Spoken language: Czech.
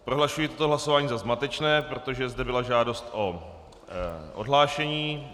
Prohlašuji toto hlasování za zmatečné, protože zde byla žádost o odhlášení.